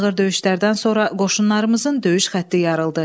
Ağır döyüşlərdən sonra qoşunlarımızın döyüş xətti yarıldı.